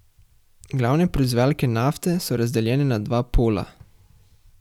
Glavne proizvajalke nafte so razdeljene na dva pola.